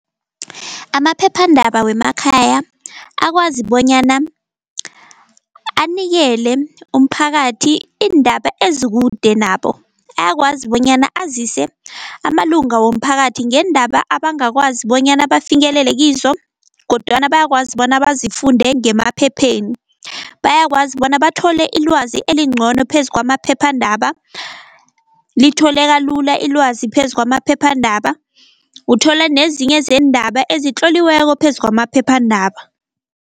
Amaphephandaba wemakhaya akwazi bonyana anikele umphakathi iindaba ezikude nabo, ayakwazi bonyana azise amalunga womphakathi ngeendaba abangakwazi bonyana bafinyelele kizo, kodwana bayakwazi bona bazifunde ngemaphepheni. Bayakwazi bona bathole ilwazi elincono phezu kwamaphephandaba, litholeka lula ilwazi phezu kwamaphephandaba, uthola nezinye zeendaba ezitloliweko phezu kwamaphephandaba.